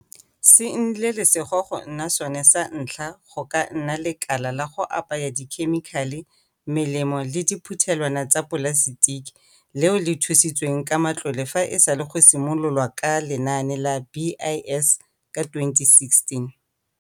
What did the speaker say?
se nnile lesego go nna sone sa ntlha go ka nna lekala la go apaya dikhemikhale, melemo le diphuthelwana tsa dipolasetiki leo le thusitsweng ka matlole fa e sale go simolo lwa ka Lenaane la BIS ka 2016.